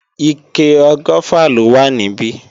Ike ọgọ́fà lọ wà níbí